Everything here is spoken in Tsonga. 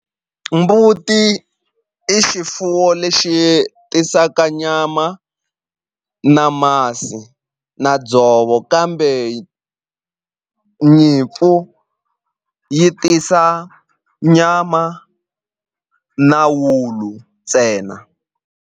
Mbuti i xifuwo lexi tisaka nyama na masi na dzovo kambe nyimpfu yi tisa nyama na wulu ntsena.